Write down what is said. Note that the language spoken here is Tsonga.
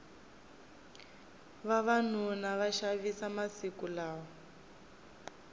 vavanuna va xavisa masiku lawa